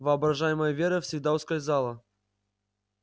воображаемая вера всегда ускользала